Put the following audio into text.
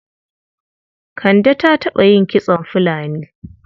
Kande ta taɓa yin kitson fulani.